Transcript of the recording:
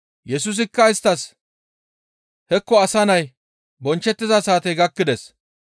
Yesusikka isttas, «Hekko Asa Nay bonchchettiza saatey gakkides.